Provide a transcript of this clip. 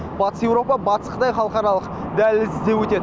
батыс еуропа батыс қытай халықаралық дәлізі де өтеді